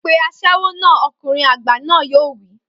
Pe aṣẹ́wó náà!,ọkùnrin àgbà náà yóò wí.